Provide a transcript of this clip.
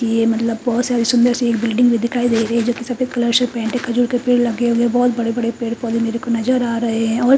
ये मतलब बहोत सारी सुंदर सी एक बिल्डिंग में दिखाई दे रही है जोकि सफेद कलर से पेंट है खजूर के पेड़ लगे हुए हैं बहोत बड़े बड़े पेड़ पौधे मेरे को नजर आ रहे हैं और--